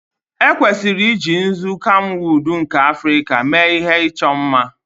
Ekwesịrị iji nzu kamwụd nke Africa mee ihe ịchọ mma